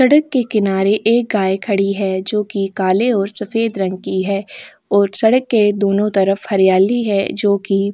सड़क के किनारे एक गाय खड़ी है जो कि काले और सफेद रंग की है और सड़क के दोनों तरफ हरियाली है जो कि ।